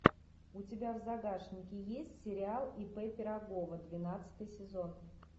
у тебя в загашнике есть сериал ип пирогова двенадцатый сезон